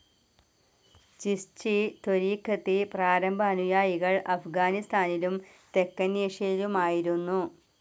ഛിസ്ഛി ത്വരിഖത്തി പ്രാരംഭ അനുയായികൾ അഫ്ഗാനിസ്ഥാനിലും തെക്കനേഷ്യയിലുമായിരുന്നു.